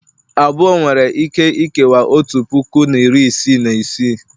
abụọ nwere ike ikewaa otu puku na iri isii na isii